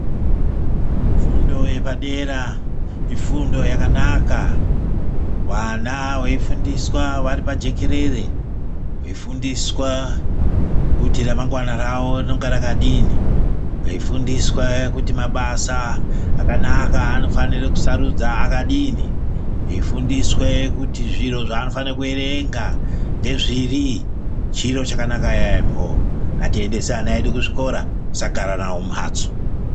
Fundo yepadera ifundo yakanaka vana veifundiswa vari pajekerere veifundiswa kuti ramangwana rawo rinonga rakadini, veifundiswa kuti mabasa akanaka anofanire kusarudza akadini, eifundiswe kuti zviro zvaanofanira kuerenga ndezviri chiro chakanaka yambo ngatiendese ana edu kuzvikora tisagara nawo mumhatso.